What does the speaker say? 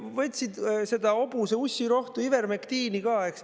Võtsid seda hobuse ussirohtu ivermektiini ka.